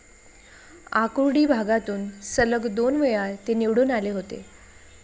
आकुर्डी भागातून सलग दोनवेळा ते निवडून आले होते.